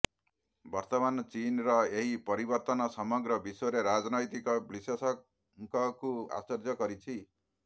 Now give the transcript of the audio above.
ବର୍ତ୍ତମାନ ଚୀନ୍ର ଏହି ପରିବର୍ତ୍ତନ ସମଗ୍ର ବିଶ୍ୱରେ ରାଜନୈତିକ ବିଶ୍ଳେଷକଙ୍କୁ ଆଶ୍ଚର୍ଯ୍ୟ କରିଛି